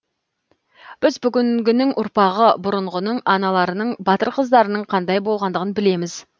біз бүгінгінің ұрпағы бұрынғының аналарының батыр қыздарының қандай болғандығын білеміз